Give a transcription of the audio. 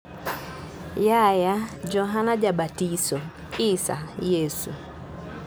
Yahya (Johana Jabatiso), Isa (Yesu).